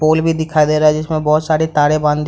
पोल भी दिखाई दे रहा है जिसमे बहोत सारी तारे बाँधी --